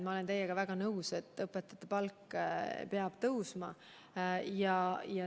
Ma olen teiega väga nõus, et õpetajate palk peab tõusma.